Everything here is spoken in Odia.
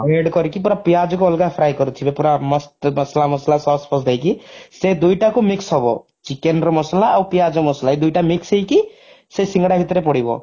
red କରିକି ପୁରା ପିଆଜକୁ ଅଲଗା fry କରିଥିବେ ପୁରା ମସ୍ତ ମସଲା ମସଲା sauce ଫସଲା ଦେଇକି ସେଇ ଦୁଇଟାକୁ mix ହବ chicken ର ମସଲା ଆଉ ପିଆଜ ମସଲା ଏଇ ଦୁଇଟା mix ହେଇକି ସେ ସିଙ୍ଗଡା ଭିତରେ ପଡିବ